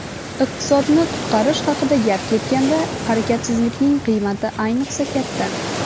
iqtisodni qutqarish haqida gap ketganda harakatsizlikning qiymati ayniqsa katta.